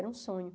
Era um sonho.